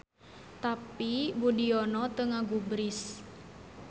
Tapi Boediono teu ngagubris.